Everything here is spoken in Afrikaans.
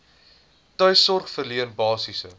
tuissorg verleen basiese